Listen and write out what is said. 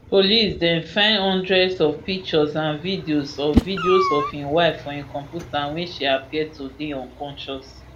police den find hundreds of pictures and videos of videos of im wife for im computer wia she appear to dey unconscious